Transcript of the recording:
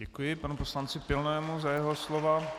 Děkuji panu poslanci Pilnému za jeho slova.